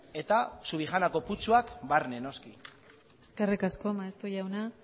eta subijanako putzuak barne noski eskerrik asko maeztu jauna